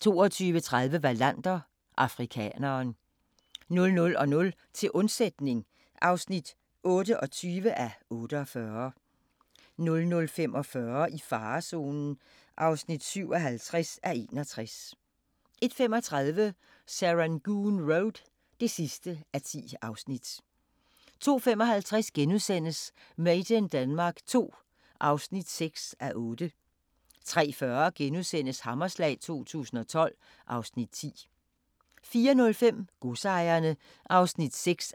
22:30: Wallander: Afrikaneren 00:00: Til undsætning (28:48) 00:45: I farezonen (57:61) 01:35: Serangoon Road (10:10) 02:55: Made in Denmark II (6:8)* 03:40: Hammerslag 2012 (Afs. 10)* 04:05: Godsejerne (6:8)